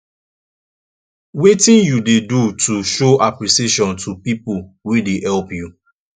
wetin you dey do to show apppreciation to people wey dey help you